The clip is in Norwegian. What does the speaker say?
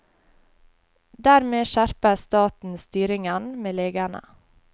Dermed skjerper staten styringen med legene.